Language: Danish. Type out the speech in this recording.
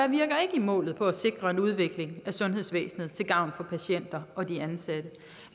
i målet for at sikre en udvikling af sundhedsvæsenet til gavn for patienter og de ansatte